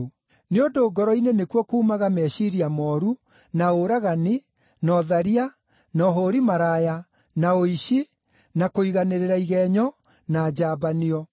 Nĩ ũndũ ngoro-inĩ nĩkuo kuumaga meciiria mooru, na ũragani, na ũtharia, na ũhũũri maraya, na ũici, na kũiganĩrĩra igenyo, na njambanio.